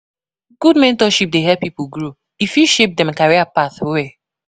Good mentorship dey help pipo grow; e fit shape dem career path well.